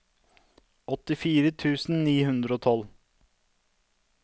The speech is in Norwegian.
åttifire tusen ni hundre og tolv